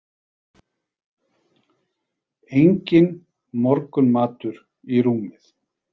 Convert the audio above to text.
Enginn morgunmatur í rúmið.